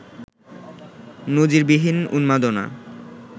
নজিরবিহীন উন্মাদনা